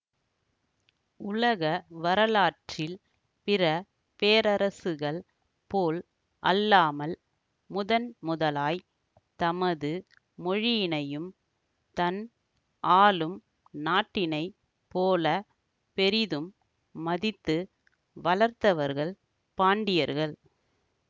உலக வரலாற்றில் பிற பேரரசுகள் போல் அல்லாமல் முதன்முதலாய் தமது மொழியினையும் தன் ஆளும் நாட்டினை போல பெரிதும் மதித்து வளர்த்தவர்கள் பாண்டியர்கள்